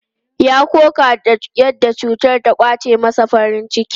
Ya koka da yadda cutar ta ƙwace masa farin ciki.